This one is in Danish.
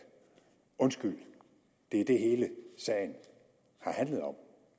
undskyld det er det hele sagen har handlet om